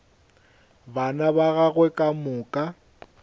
bana ba gagwe ka moka